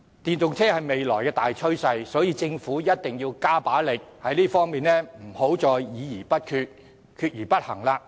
電動車是未來的大趨勢，政府一定要加把勁，在這方面不能再議而不決，決而不行。